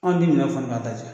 Anw ti minan ka taa